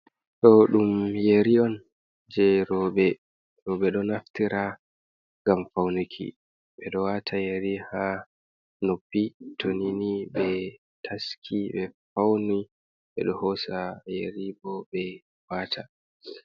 Ɗo ɗum yeri on je roɓe, roɓe ɗo naftira ngam faunuki ɓeɗo wata yari ha noppi, to ni ni ɓe taski ɓe fauni ɓeɗo hosa yeri bo ɓe wata.